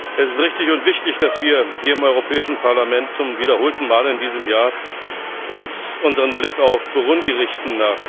Es ist richtig und wichtig, dass wir hier im Europäischen Parlament zum wiederholten Mal in diesem Jahr unseren Blick auf Burundi richten.